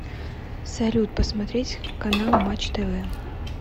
салют посмотреть канал матч тв